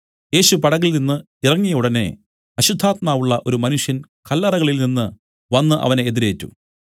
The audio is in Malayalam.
യേശു പടകിൽനിന്ന് ഇറങ്ങിയ ഉടനെ അശുദ്ധാത്മാവുള്ള ഒരു മനുഷ്യൻ കല്ലറകളിൽ നിന്നു വന്നു അവനെ എതിരേറ്റു